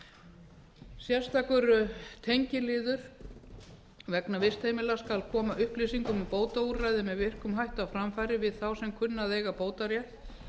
upplýsingar sérstakur tengiliður vegna vistheimila skal koma upplýsingum um bótaúrræði með virkum hætti á framfæri við þá sem kunna að eiga bótarétt